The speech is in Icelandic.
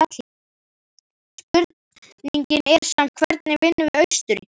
Spurningin er samt hvernig vinnum við Austurríki?